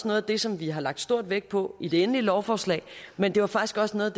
noget af det som vi har lagt stor vægt på i det endelige lovforslag men det var faktisk også noget